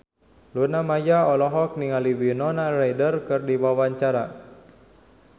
Luna Maya olohok ningali Winona Ryder keur diwawancara